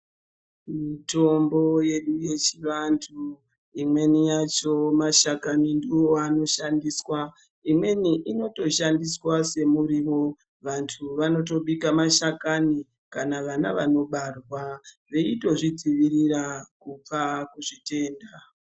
Mitombo yedu yechivantu, imeni yacho, mashakani ndiwo anoshandiswa, imweni inotoshandiswa semiriwo, vantu vanotobika mashakani, kana vana vanobarwa veito zvidzivirira kubva kuzvitenda.